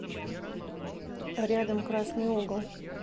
рядом красный угол